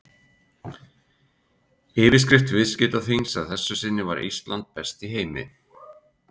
Yfirskrift viðskiptaþings að þessu sinni var Ísland besti í heimi?